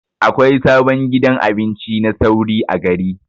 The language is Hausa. Akwai sabon gidan abinci na sauri a gari.